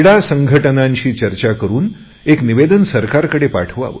संघटनांनी चर्चा करुन निवेदने सरकारकडे पाठवावी